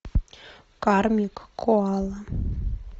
кармик коала